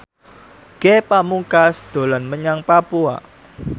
Ge Pamungkas dolan menyang Papua